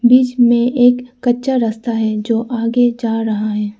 बीच में एक कच्चा रास्ता है जो आगे जा रहा है।